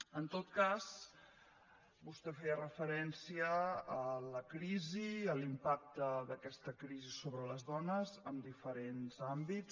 en tot cas vostè feia referència a la crisi i a l’impacte d’aquesta crisi sobre les dones en diferents àmbits